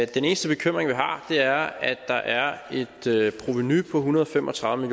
den eneste bekymring vi har er at der er et provenu på en hundrede og fem og tredive